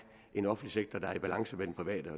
en offentlig sektor der er i balance med den private